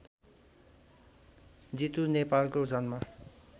जितु नेपालको जन्म